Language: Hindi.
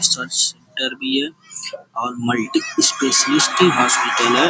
रिसर्च सेण्टर भी है और मल्टीस्पेसिलिटी हॉस्पिटल है।